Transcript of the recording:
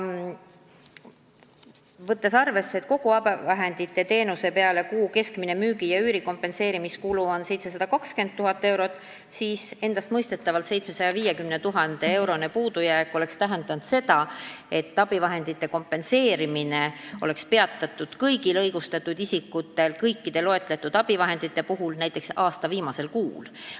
Võttes arvesse, et kogu abivahenditeenuse kuu keskmine müügi ja üüri kompenseerimise kulu on 720 000 eurot, oleks 750 000 euro suurune puudujääk tähendanud seda, et abivahendite kompenseerimine oleks peatatud kõigil õigustatud isikutel ja kõikide loetletud abivahendite puhul näiteks aasta viimasel kuul.